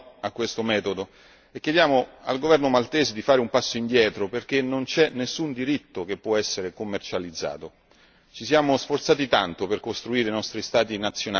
Per questo sono d'accordo con il Commissario Reding a dire no a questo metodo e chiediamo al governo maltese di fare un passo indietro, perché non c'è nessun diritto che possa essere commercializzato.